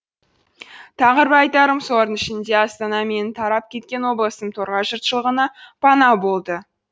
тағы бір айтарым солардың ішінде астана менің тарап кеткен облысым торғай жұртшылығына пана болды